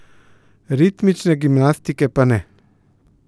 Ritmične gimnastike pa ne.